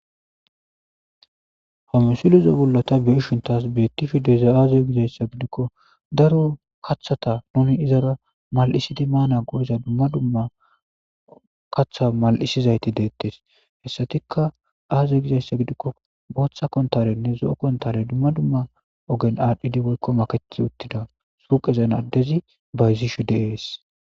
hamusulizo bollota beeshuntas beettifhideza aaze gizayssa gidikko daro kaththata nuni izara mal7isidi maana goyza dumma dumma kaththa mal7isizayti deettes hessatikka aazey gizayssa gidikko booththa kontarenne zo7o kontare dumma dumma ogen aadhphidi boykko makechi uttida suqezen addezi bayzishu deees